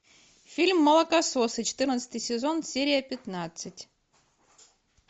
фильм молокососы четырнадцатый сезон серия пятнадцать